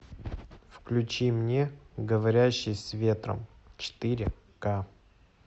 включи мне говорящий с ветром четыре ка